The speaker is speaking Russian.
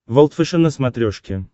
волд фэшен на смотрешке